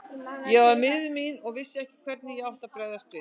Ég var miður mín og vissi ekki hvernig ég átti að bregðast við.